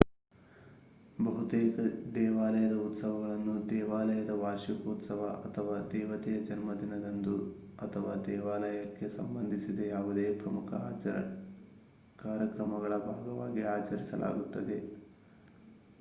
ಬಹುತೇಕ ದೇವಾಲಯದ ಉತ್ಸವಗಳನ್ನು ದೇವಾಲಯದ ವಾರ್ಷಿಕೋತ್ಸವ ಅಥವಾ ದೇವತೆಯ ಜನ್ಮದಿನದಂದು ಅಥವಾ ದೇವಾಲಯಕ್ಕೆ ಸಂಬಂಧಿಸಿದ ಯಾವುದೇ ಪ್ರಮುಖ ಕಾರ್ಯಕ್ರಮಗಳ ಭಾಗವಾಗಿ ಅಚರಿಸಲಾಗುತ್ತದೆ